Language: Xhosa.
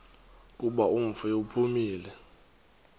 kuba umfi uphumile